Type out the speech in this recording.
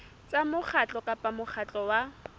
tsa mokgatlo kapa mokgatlo wa